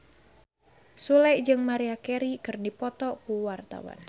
Sule jeung Maria Carey keur dipoto ku wartawan